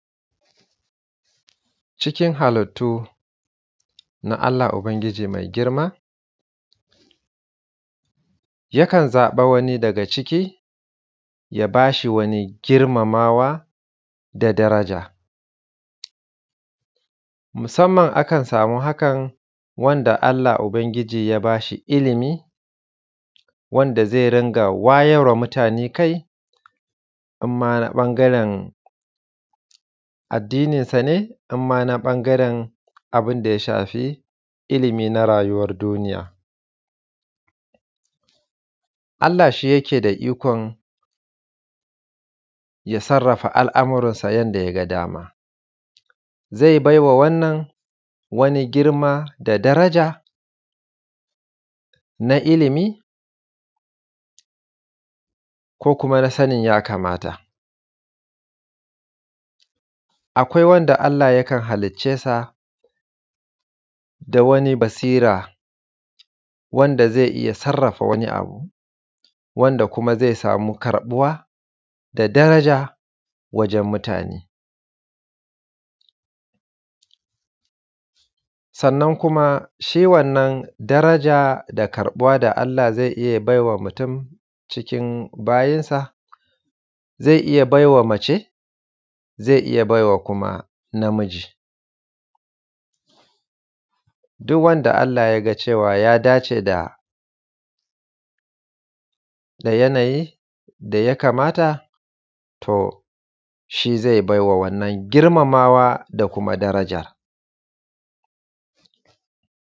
Cikin halittu na Allah ubangiji mai girma yakan zaɓi wani daga cikin halittu ya ba shi wani girmamawa da daraja, musamman akan sama hakan wanda Allah ubangiji ya ba shi ilimi wanda zai dinga wayar wa mutane kai in ma ɓangaren addininsa ne, inma na ɓangaren abin da ya shafi ilimi na rayuwan duniya. Allah shi yake da ikon ya sarrafa al’amuransa yanda ya ga dama, zai bai ma wannan wani girma, daraja na ilimi ko kuma na sanin ya kamata, akwai wanda Allah yakan halicce sa da wani basira wanda zai iya sarrafa wani abu wanda kuma zai sama karɓuwa da daraja wajen mutane. Sannan kuma shi wannan daraja da karɓuwa da Allah zai iya bayarwa mutun cikin bayinsa zai iya baiwa mace, zai iya baiwa kuma namiji, duk wanda Allah ya ga ya dace da yanayin da ya kamata to shi ze bai ma wannan girmamawa da kuma daraja.